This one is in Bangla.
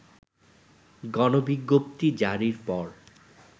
গণবিজ্ঞপ্তি জারির পর